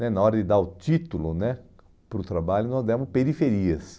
né na hora de dar o título né para o trabalho, nós demos periferias.